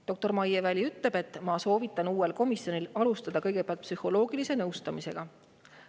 " Doktor Maie Väli ütleb: "Soovitan uuel komisjonil alustada kõigepealt psühholoogilise nõustamisega.